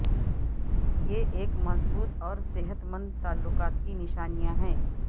یہ ایک مضبوط اور صحت مند تعلقات کی نشانیاں ہیں